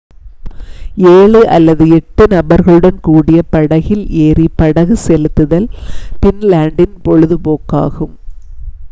7 அல்லது 8 நபர்களுடன் கூடிய படகில் ஏறி படகு செலுத்துதல் ஃபின்லாண்டின் பொழுது போக்காகும்